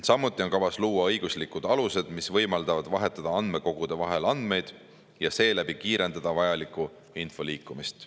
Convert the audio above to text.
Samuti on kavas luua õiguslikud alused, mis võimaldavad vahetada andmekogude vahel andmeid ja seeläbi kiirendada vajaliku info liikumist.